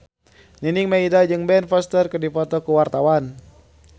Nining Meida jeung Ben Foster keur dipoto ku wartawan